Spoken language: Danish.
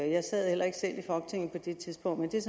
jeg sad heller ikke selv i folketinget på det tidspunkt men det er